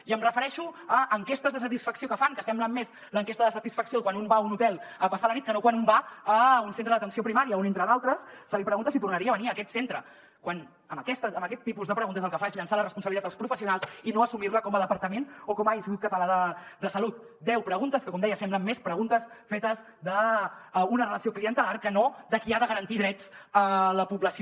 i em refereixo a enquestes de satisfacció que fan que semblen més l’enquesta de satisfacció quan un va a un hotel a passar la nit que no quan un va a un centre d’atenció primària on entre d’altres se li pregunta si tornaria a venir a aquest centre quan amb aquest tipus de preguntes el que es fa és llançar la als professionals i no assumir la com a departament o com a institut català de salut deu preguntes que com deia semblen més preguntes fetes d’una relació clientelar que no de qui ha de garantir drets a la població